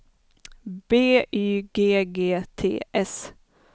B Y G G T S